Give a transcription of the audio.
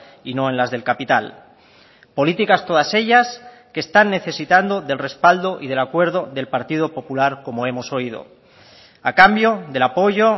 y no en las del capital políticas todas ellas que están necesitando del respaldo y del acuerdo del partido popular como hemos oído a cambio del apoyo